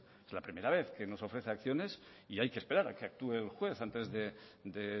es la primera vez que nos ofrece acciones y hay que esperar a que actúe el juez antes de